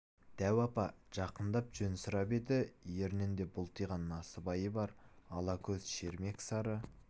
дәу апа жақындап жөн сұрап еді ернінде бұлтиған насыбайы бар ала көз шермек сары